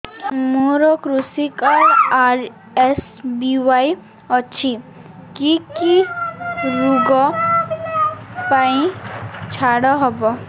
ମୋର କୃଷି card RSBY ଅଛି କି କି ଋଗ ପାଇଁ ଛାଡ଼ ହବ